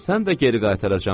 ölsən də geri qaytaracağam.